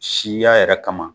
Siya yɛrɛ kama